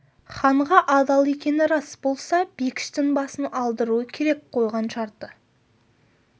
ханға адал екені рас болса бекіштің басын алдыруы керек қойған шарты ауыр еді айдос уәдесінен шықты